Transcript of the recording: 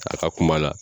A ka kuma la